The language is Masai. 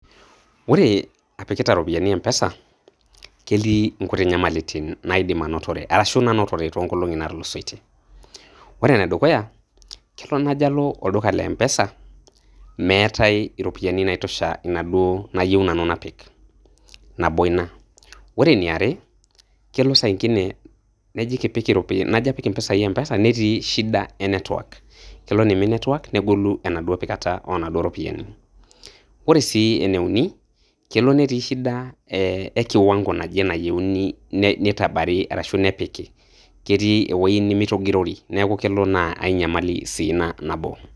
Ore apikiti ropiyiani Mpesa, ketii nkuti nyamalitin naidim anotore, arashu nanotore toonkolong'i naatulusoitie. Ore enedukuya, kelo najo alo olduka le Mpesa, meetai iropiyiani naitosha inaduo nayieu nanu napik. Nabo ina, ore eniare, kelo saingine najo apik mpisai Mpesa netii shida e network, kelo neimin network negolu endauo pikata onaduo ropiyiani. Ore sii eneuni, kelo netii shida ekiwango naje nayieuni neitabari arashu nepiki, ketii ewueji nemeitogirori neeku kelo naa ainyamali sii ina nabo.